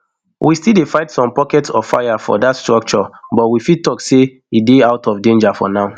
we still dey fight some pockets of fire for dat structure but we fit tok say e dey out of danger for now